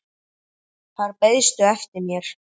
Þar beiðstu eftir mér.